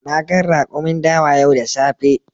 Na gan rakumin dawa yau da safe.